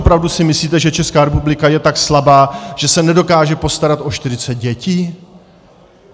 Opravdu si myslíte, že Česká republika je tak slabá, že se nedokáže postarat o 40 dětí?